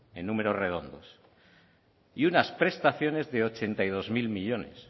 en números redondos y unas prestaciones de ochenta y dos mil millónes